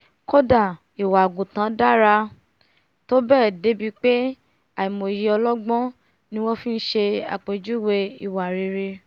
kódà ìwà àgùntàn dára tó bẹ́ẹ̀ dé ibi pé àìmọyé ọlọgbọ́n ni wọ́n fi ṣe àpèjúwèé ìwà rere